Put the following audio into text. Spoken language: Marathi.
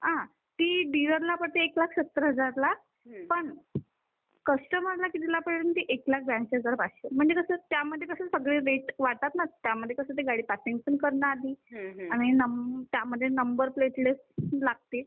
कस्टमरला कितीला पडेल ती एक लाख बेऐंशी हजारला म्हणजे त्यामध्ये कस ते रेट वाढणार ना, पासींग करणार, आणि त्यामध्ये नंबर प्लेट पण लागते